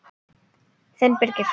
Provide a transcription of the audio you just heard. Þinn Birgir.